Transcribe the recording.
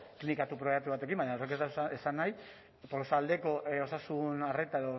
klinika pribatu batekin baina horrek ez du esan nahi tolosaldeko osasun arreta